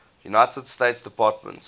united states department